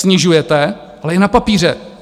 Snižujete, ale jen na papíře.